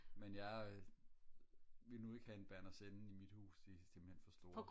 men jeg øh ville nu ikke have en Berner Sennen i mit hus de er simpelthen for store